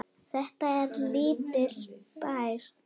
Þetta er lítill bær.